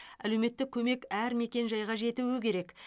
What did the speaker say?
әлеуметтік көмек әр мекен жайға жетуі керек